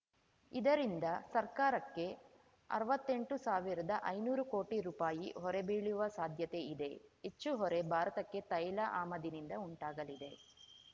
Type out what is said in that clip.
ಇದರಿಂದ ಸರ್ಕಾರಕ್ಕೆ ಅರ್ವತ್ತೆಂಟು ಸಾವಿರ್ದಐನೂರು ಕೋಟಿ ರುಪಾಯಿ ಹೊರೆ ಬೀಳುವ ಸಾಧ್ಯತೆ ಇದೆ ಹೆಚ್ಚು ಹೊರೆ ಭಾರತಕ್ಕೆ ತೈಲ ಆಮದಿನಿಂದ ಉಂಟಾಗಲಿದೆ